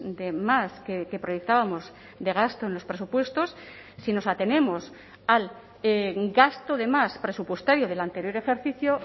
de más que proyectábamos de gasto en los presupuestos si nos atenemos al gasto de más presupuestario del anterior ejercicio